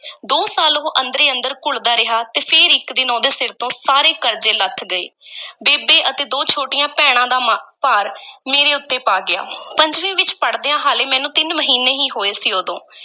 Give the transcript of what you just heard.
ਦੋ ਸਾਲ ਉਹ ਅੰਦਰੇ-ਅੰਦਰ ਘੁਲਦਾ ਰਿਹਾ ਤੇ ਫੇਰ ਇੱਕ ਦਿਨ ਉਹਦੇ ਸਿਰ ਤੋਂ ਸਾਰੀ ਕਰਜ਼ੇ ਲੱਥ ਗਏ ਬੇਬੇ ਅਤੇ ਦੋ ਛੋਟੀਆਂ ਭੈਣਾਂ ਦਾ ਮਾ~ ਭਾਰ ਮੇਰੇ ਉੱਤੇ ਪਾ ਗਿਆ ਪੰਜਵੀਂ ਵਿੱਚ ਪੜ੍ਹਦਿਆਂ ਹਾਲੇ ਮੈਨੂੰ ਤਿੰਨ ਮਹੀਨੇ ਈ ਹੋਏ ਸੀ ਉਦੋਂ।